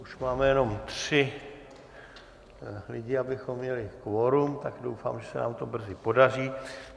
Už máme jenom tři lidi, abychom měli kvorum, tak doufám, že se nám to brzy podaří.